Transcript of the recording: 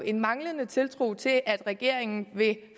en manglende tiltro til at regeringen vil